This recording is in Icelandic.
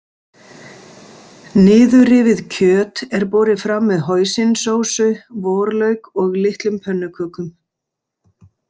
Niðurrifið kjöt er borið fram með hoisinsósu, vorlauk og litlum pönnukökum.